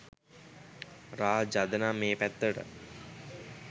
රාජ් අද නම් ඒ පැත්තට